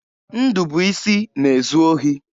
Ndụbụisi na-ezu ohi.